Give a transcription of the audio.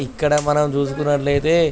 ఇక్కడ మనం చేసుకున్నట్లైతే--